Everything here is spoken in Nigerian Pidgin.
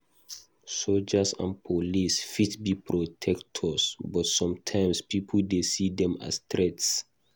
Soldiers and police fit be protectors, but sometimes pipo dey see dem as threats.